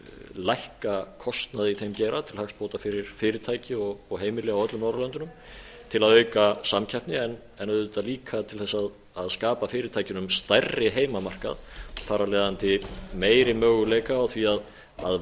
lækka kostnað í þeim geira til hagsbóta fyrir fyrirtæki og heimili á öllum norðurlöndunum til að auka samkeppni en auðvitað líka til þess að skapa fyrirtækjunum stærri heimamarkað þar af leiðandi meiri möguleika á því að